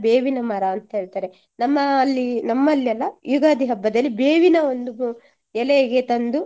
ಬೇವಿನ ಮರ ಅಂತ ಹೇಳ್ತಾರೆ. ನಮ್ಮ ಅಲ್ಲಿ ನಮ್ಮಲ್ಲಿ ಅಲ್ಲ ಯುಗಾದಿ ಹಬ್ಬದಲ್ಲಿ ಬೇವಿನ ಒಂದು ಎಲೆಗೆ ತಂದು